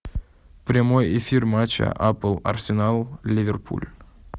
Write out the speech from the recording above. прямой эфир матча апл арсенал ливерпуль